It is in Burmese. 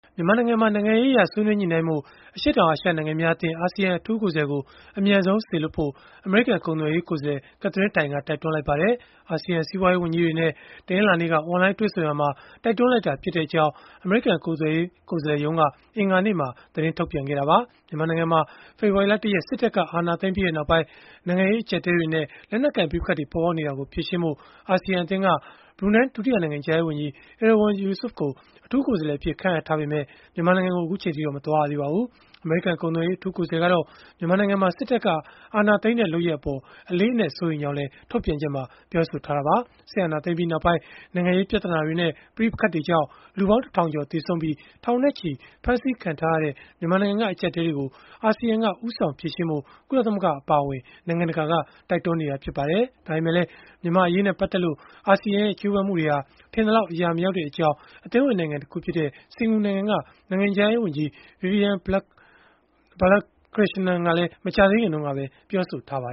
မြန်မာနိုင်ငံမှာ နိုင်ငံရေးအရ ဆွေးနွေးညှိနှိုင်းနိုင်ဖို့ အရှေ့တောင်အာရှ နိုင်ငံများအသင်း အထူးကိုယ်စားလှယ်ကို အမြန်ဆုံး စေလွှတ်ဖို့ အမေရိကန် ကုန်သွယ်ရေး ကိုယ်စားလှယ် Katherine Tai က တိုက်တွန်းလိုက်ပါတယ်။ အာဆီယံ စီးပွားရေး ဝန်ကြီးတွေနဲ့ တနင်္လာနေ့က အွန်လိုင်း တွေ့ဆုံရာမှာ တိုက်တွန်းလိုက်တာဖြစ်ကြောင်း အမေရိကန် ကုန်သွယ်ရေး ကိုယ်စားလှယ်ရုံးက အင်္ဂါနေ့မှာ သတင်းထုတ်ပြန်ခဲ့တာပါ။ မြန်မာနိုင်ငံမှာ ဖေဖော်ဝါရီလ ၁ ရက် စစ်တပ်က အာဏာသိမ်းပြီးနောက်ပိုင်း နိုင်ငံရေး အကျပ်အတည်းတွေနဲ့ လက်နက်ကိုင် ပဋိပက္ခတွေ ပေါ်ပေါက်နေတာကို ဖြေရှင်းဖို့ အာဆီယံ အသင်းက ဘရူနိုင်း ဒုတိယနိုင်ငံခြားရေးဝန်ကြီး Erywan Yusof ကို အထူးကိုယ်စားလှယ်အဖြစ် ခန့်အပ်ထားပေမဲ့ မြန်မာနိုင်ငံကို အခုအချိန်အထိတော့ မသွားရသေးပါဘူး။ အမေရိကန် ကုန်သွယ်ရေး အထူးကိုယ်စားလှယ်ကတော့ မြန်မာနိုင်ငံမှာ စစ်တပ်က အာဏာသိမ်းတဲ့ လုပ်ရပ်အပေါ် အလေးအနက် စိုးရိမ်ကြောင်းလည်း ထုတ်ပြန်ချက်မှာ ပြောဆိုခဲ့တာပါ။ စစ်အာဏာသိမ်းပြီးနောက်ပိုင်း နိုင်ငံရေး ပြဿနာတွေနဲ့ ပဋိပက္ခတွေကြောင့် လူပေါင်း ၁ ထောင်ကျော် သေဆုံးပြီး ထောင်နဲ့ချီ ဖမ်းဆီးခံထားရတဲ့ မြန်မာနိုင်ငံက အကျပ်အတည်းတွေကို အာဆီယံက ဦးဆောင်ဖြေရှင်းဖို့ ကုလသမဂ္ဂ အပါအဝင် နိုင်ငံတကာက တိုက်တွန်းနေတာ ဖြစ်ပါတယ်။ ဒါပေမဲ့လည်း မြန်မာ့အရေးနဲ့ ပတ်သက်လို့ အာဆီယံရဲ့ ကြိုးပမ်းမှုတွေဟာ ထင်သလောက် အရာမရောက်တဲ့အကြောင်း အသင်းဝင် နိုင်ငံတခုဖြစ်တဲ့ စင်္ကာပူနိုင်ငံက နိုင်ငံခြားရေးဝန်ကြီး Vivian Balakrishanan ကလည်း မကြာသေးခင်ကပဲ ပြောဆိုထားပါ